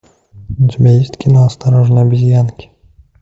у тебя есть кино осторожно обезьянки